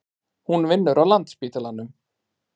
Hún vinnur á Landspítalanum.